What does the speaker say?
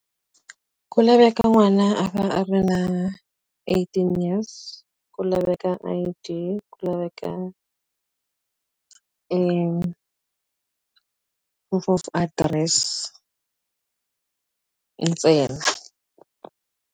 Ku laveka n'wana a ri na eighteen years, ku laveka I_D, ku laveka proof of address ntsena.